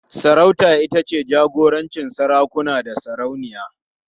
Sarauta ita ce jagorancin sarakuna da sarauniya.